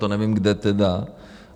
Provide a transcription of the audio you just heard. To nevím, kde tedy.